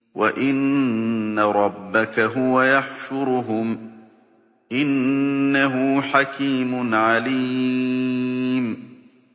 وَإِنَّ رَبَّكَ هُوَ يَحْشُرُهُمْ ۚ إِنَّهُ حَكِيمٌ عَلِيمٌ